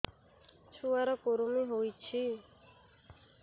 ଛୁଆ ର କୁରୁମି ହୋଇଛି